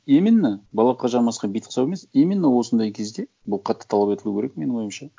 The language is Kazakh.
именно балаққа жармасқан битке ұқсап емес именно осындай кезде бұл қатты талап етілуі керек менің ойымша